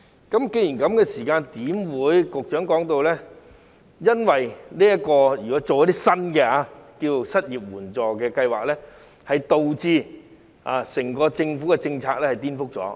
既然如此，為何局長說推行一些新的失業援助計劃會顛覆政府的整體政策？